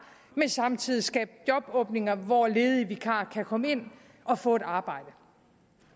men samtidig skabe jobåbninger hvor ledige vikarer kan komme ind og få et arbejde